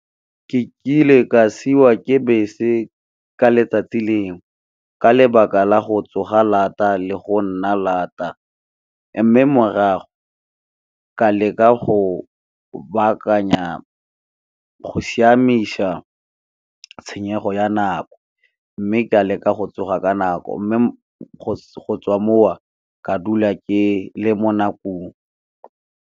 Ke ile ka siwa ke bese ka letsatsi lengwe ka lebaka la go tsoga lata le go nna lata mme morago, ka leka go baakanya, go siamisa tshenyego ya nako mme ka leka go tsoga ka nako. Mme, go tswa mowa ka dula ke le mo nakong.